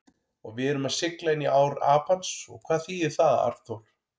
Og við erum að sigla inní ár Apans og hvað þýðir það, Arnþór?